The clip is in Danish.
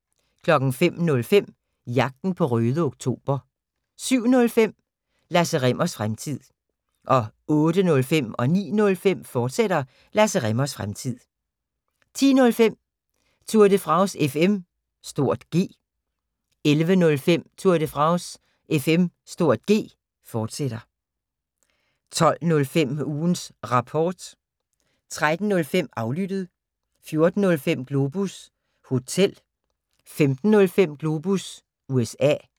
05:05: Jagten på Røde Oktober 07:05: Lasse Rimmers Fremtid 08:05: Lasse Rimmers Fremtid, fortsat 09:05: Lasse Rimmers Fremtid, fortsat 10:05: Tour de France FM (G) 11:05: Tour de France FM (G), fortsat 12:05: Ugens Rapport 13:05: Aflyttet 14:05: Globus Hotel 15:05: Globus USA